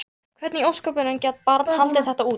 Hvernig í ósköpunum gat barnið haldið þetta út?